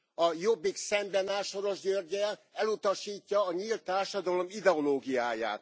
A Jobbik szemben áll Soros Györggyel, elutasítja a nyílt társadalom ideológiáját.